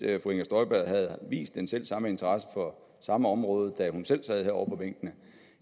fru inger støjberg havde vist den selv samme interesse for samme område da hun selv sad herovre på bænkene